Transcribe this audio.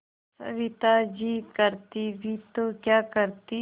सविता जी करती भी तो क्या करती